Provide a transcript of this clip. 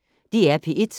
DR P1